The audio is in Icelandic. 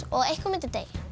og einhver myndi deyja